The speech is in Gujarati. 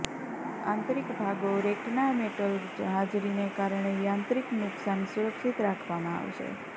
આંતરિક ભાગો રેક ના મેટલ હાજરીને કારણે યાંત્રિક નુકસાન સુરક્ષિત રાખવામાં આવશે